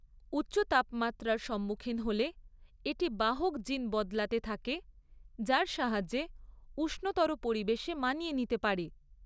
উচ্চ তাপমাত্রার সম্মুখীন হলে এটি বাহক জিন বদলাতে থাকে যার সাহায্যে উষ্ণতর পরিবেশে মানিয়ে নিতে পারে।